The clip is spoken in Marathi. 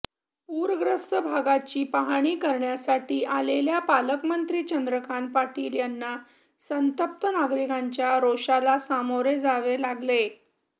पूरग्रस्त भागाची पाहणी करण्यासाठी आलेल्या पालकमंत्री चंदकांत पाटील यांना संतप्त नागरिकांच्या रोषाला सामोरे जावे लागले